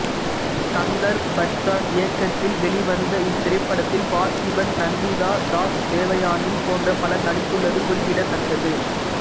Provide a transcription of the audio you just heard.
தங்கர் பச்சான் இயக்கத்தில் வெளிவந்த இத்திரைப்படத்தில் பார்த்திபன் நந்திதா தாஸ் தேவயானி போன்ற பலர் நடித்துள்ளது குறிப்பிடத்தக்கது